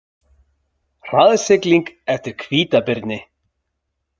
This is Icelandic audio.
Hraðsigling eftir hvítabirni